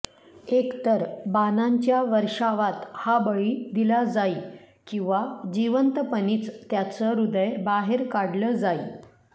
एकतर बाणांच्या वर्षावात हा बळी दिला जाई किंवा जिवंतपणीच त्याचं हृदय बाहेर काढलं जाई